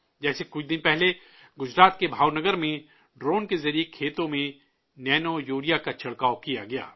جیسے کچھ دن پہلے، گجرات کے بھاؤ نگر میں ڈرون کے ذریعے کھیتوں میں نینو یوریا کا چھڑکاؤ کیا گیا